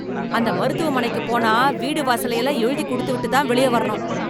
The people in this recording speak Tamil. அந்த மருத்துவமனைக்கு போனா வீடு வாசலை எல்லாம் எழுதி கொடுத்துவிட்டு தான் வெளியே வரணும்